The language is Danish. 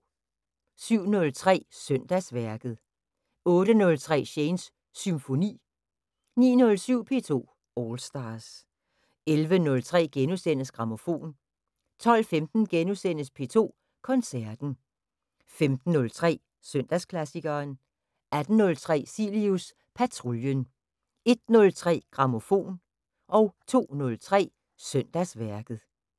07:03: Søndagsværket 08:03: Shanes Symfoni 09:07: P2 All Stars 11:03: Grammofon * 12:15: P2 Koncerten * 15:03: Søndagsklassikeren 18:03: Cilius Patruljen 01:03: Grammofon 02:03: Søndagsværket